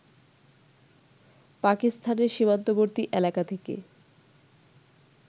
পাকিস্তানের সীমান্তবর্তী এলাকা থেকে